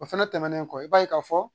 O fana tɛmɛnen kɔ i b'a ye k'a fɔ.